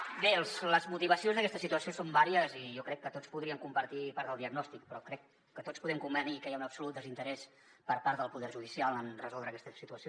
bé les motivacions d’aquesta situació són diverses i jo crec que tots podríem compartir part del diagnòstic però crec que tots podem convenir que hi ha un absolut desinterès per part del poder judicial en resoldre aquesta situació